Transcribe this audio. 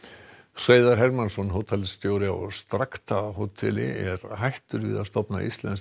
Hreiðar Hermannsson hótelstjóri á hóteli er hættur við að stofna íslenskt